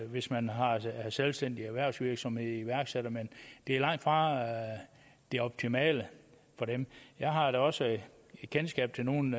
hvis man har selvstændig erhvervsvirksomhed iværksætter men det er langtfra det optimale for dem jeg har da også kendskab til nogle